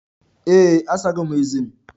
Ee, asago m ezé m.